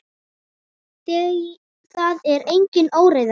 Það er engin óreiða.